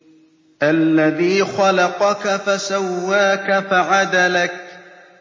الَّذِي خَلَقَكَ فَسَوَّاكَ فَعَدَلَكَ